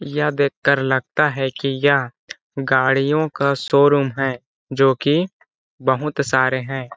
यह देख कर लगता है की यह गाड़ियों का शोरूम है जो की बहुत सारे है ।